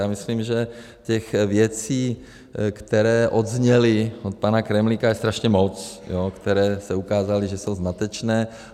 Já myslím, že těch věcí, které odzněly od pana Kremlíka, je strašně moc, které se ukázaly, že jsou zmatečné.